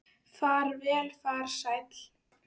Far vel, frændi sæll.